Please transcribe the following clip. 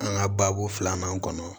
An ka baabu filanan kɔnɔ